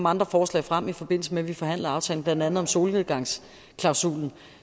andre forslag frem i forbindelse med at vi forhandlede aftalen blandt andet om solnedgangsklausulen